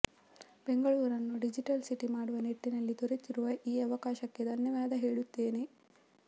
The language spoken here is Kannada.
ಬೆಂಗಳೂರನ್ನು ಡಿಜಿಟಲ್ ಸಿಟಿ ಮಾಡುವ ನಿಟ್ಟಿನಲ್ಲಿ ದೊರೆತಿರುವ ಈ ಅವಕಾಶಕ್ಕೆ ಧನ್ಯವಾದ ಹೇಳುತ್ತೇವೆ